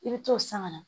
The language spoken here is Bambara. I bɛ t'o san ka na